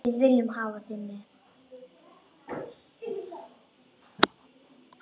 Við viljum hafa þig með.